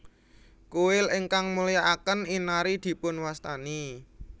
Kuil ingkang mulyakaken Inari dipunwastani